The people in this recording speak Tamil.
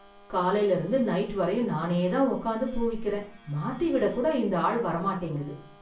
காலைல இருந்து நைட் வரையும் நானே தான் உக்காந்து பூவிக்கிறேன் மாத்தி விட கூட இந்த ஆள் வரமாட்டேங்குது.